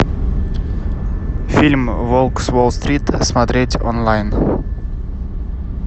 фильм волк с уолл стрит смотреть онлайн